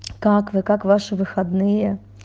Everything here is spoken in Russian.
как вы как ваши выходные